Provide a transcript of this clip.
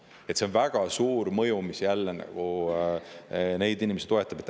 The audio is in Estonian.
Sellel on väga suur mõju, mis jälle neid inimesi toetab.